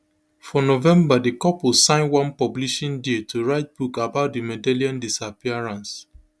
for november di couple sign one publishing deal to write book about madeleine disappearance